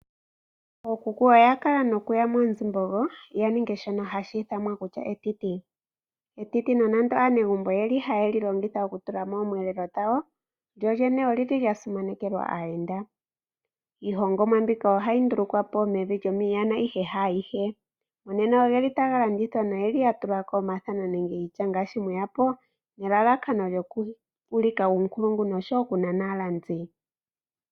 Ookuku oya kala haya yi moonzimbogo ya ninge shono hashi ithanwa etiti. Etiti nando aanegumbo oyeli ha yeli longitha okuhukulila mo oomweelelo dhawo. Lyo lyene olili lya simanekelwa aayenda. Iihongomwa mbika oya ndulukwapo mevi lyiiyanda, ihe haagehe. Nena ogeli taga landithwa ya tulwa omathano nelalakano okuulika uunkulungu oshowo okunana aalandi.